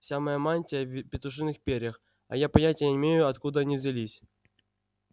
вся моя мантия в петушиных перьях а я понятия не имею откуда они взялись